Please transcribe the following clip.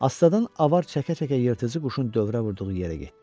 Astadan avar çəkə-çəkə yırtıcı quşun dövrə vurduğu yerə getdi.